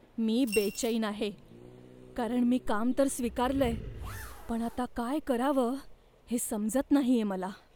मी बेचैन आहे, कारण मी काम तर स्वीकारलंय, पण आता काय करावं हे समजत नाहीये मला.